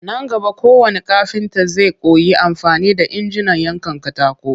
Nan gaba kowannn kafinta zai koyi amfani da injinan yankan katako